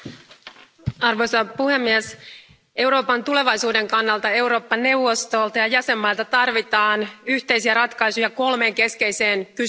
Arvoisa puhemies, Euroopan tulevaisuuden kannalta Eurooppa neuvostolta ja jäsenvaltioilta tarvitaan yhteisiä ratkaisuja kolmeen keskeiseen kysymykseen.